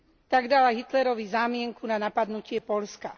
Tak dala Hitlerovi zámienku na napadnutie Poľska.